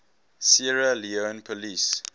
sierra leone police